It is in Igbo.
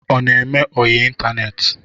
Ọ na-eme ọyị ịtaneetị?